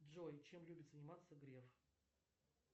джой чем любит заниматься греф